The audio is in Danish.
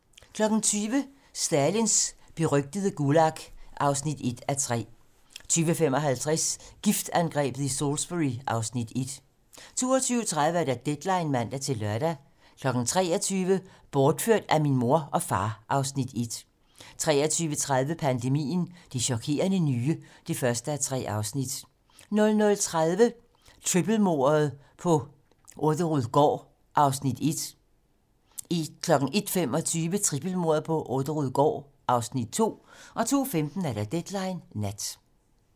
20:00: Stalins berygtede Gulag (1:3) 20:55: Giftangrebet i Salisbury (Afs. 1) 22:30: Deadline (man-lør) 23:00: Bortført af min mor og far (Afs. 1) 23:30: Pandemien - Det chokerende nye (1:3) 00:30: Trippelmordet på Orderud gård (Afs. 1) 01:25: Trippelmordet på Orderud gård (Afs. 2) 02:15: Deadline nat